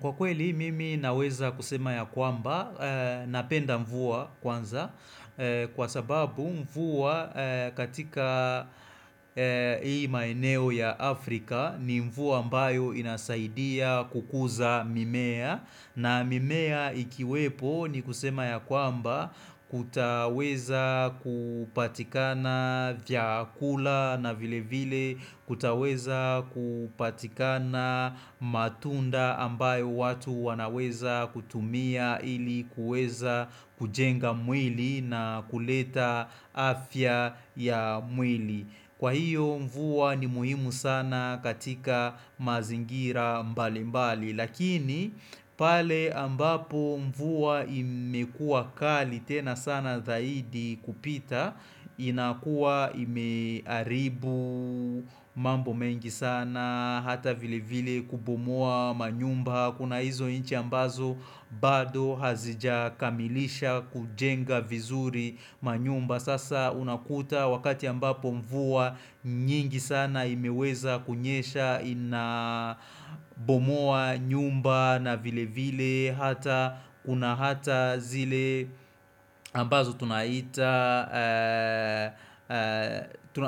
Kwa kweli mimi naweza kusema ya kwamba napenda mvua kwanza kwa sababu mvua katika hii maeneo ya Afrika ni mvua ambayo inasaidia kukuza mimea. Na mimea ikiwepo ni kusema ya kwamba kutaweza kupatikana vyakula na vile vile kutaweza kupatikana matunda ambayo watu wanaweza kutumia ili kuweza kujenga mwili na kuleta afya ya mwili. Kwa hiyo mvua ni muhimu sana katika mazingira mbali mbali Lakini pale ambapo mvua imekuwa kali tena sana zaidi kupita inakuwa imeharibu mambo mengi sana Hata vile vile kubomoa manyumba Kuna hizo inchi ambazo bado hazijakamilisha kujenga vizuri manyumba Sasa unakuta wakati ambapo mvua nyingi sana imeweza kunyesha ina bomoa nyumba na vile vile hata Kuna hata zile ambazo tunaita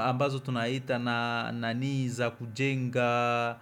ambazo tunaita na nani za kujenga.